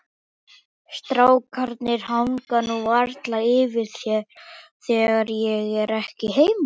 Strákarnir hanga nú varla yfir þér þegar ég er ekki heima.